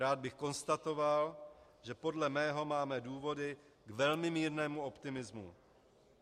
Rád bych konstatoval, že podle mého máme důvody k velmi mírnému optimismu.